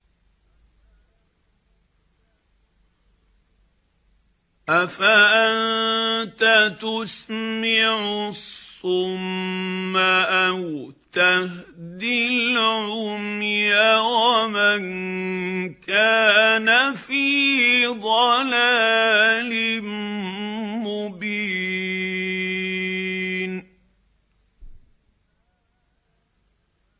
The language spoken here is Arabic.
أَفَأَنتَ تُسْمِعُ الصُّمَّ أَوْ تَهْدِي الْعُمْيَ وَمَن كَانَ فِي ضَلَالٍ مُّبِينٍ